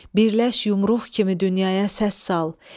Birləş yumruq kimi dünyaya səs sal.